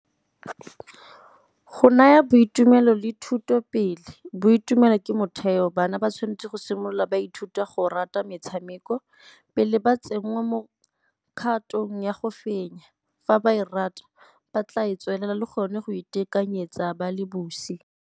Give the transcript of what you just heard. Go naya boitumelo le thuto pele. Boitumelo ke motheo, bana ba tshwanetse go simolola ba ithuta go rata metshameko pele ba tsenngwa mo kgatong ya go fenya, fa ba e rata ba tla e tswelela le gone go itekanyetsa ba le bosi.